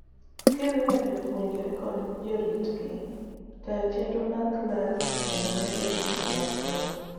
kiriwo jopuonjre kod jaritgi, tayo chenro mag clas kendo medo gigo mag somo